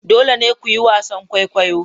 Dole ne ku yi wasan kwaikwayo!